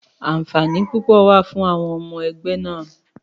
Àǹfààní púpọ̀ wà fún àwọn ọmọ ẹgbẹ́ náà.